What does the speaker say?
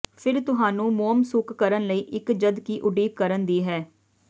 ਫਿਰ ਤੁਹਾਨੂੰ ਮੋਮ ਸੁੱਕ ਕਰਨ ਲਈ ਇੱਕ ਜਦਕਿ ਉਡੀਕ ਕਰਨ ਦੀ ਹੈ